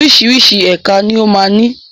Oríṣiríṣi ẹka ni ó ma ń ní.